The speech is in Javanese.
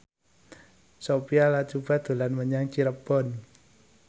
Sophia Latjuba dolan menyang Cirebon